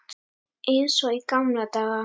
Eins og í gamla daga.